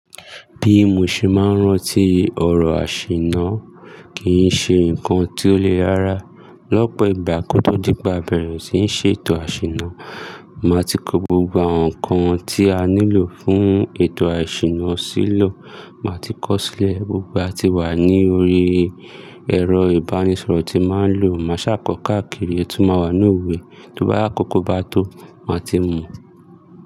Bí mo ṣe máa ń rántí ọ̀rọ̀ àṣìná kì í ṣe ǹkan tí ó le rára. Lọ́pọ̀ ìgbà kò tó dípe, à bẹ̀rẹ̀ ṣí ń ṣètò àṣìná, màá ti kó gbogbo ǹkan tí a nílò fún ètò àṣìná sílò. Màá ti kọ́ sílẹ̀ gbogbo e à ti wà ní orí ẹ̀rọ ìbánisọ̀rọ̀ tí màá ń lò. Màá ṣàkọkọ́ káàkiri, ọtí máa wà ní òwe, tó bá àkókò bá tó, màá ti mọ̀.